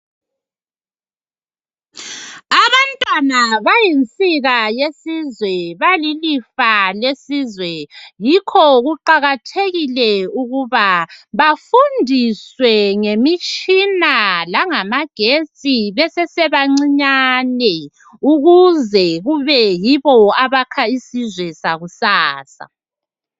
Abantwana bayinsika yesizwe balilifa lesizwe yikho kuqakathekile ukuba bafundiswe ngemitshina langa magetsi besese bancinyane ukuze kube yibo abakha isizwe sakusasa.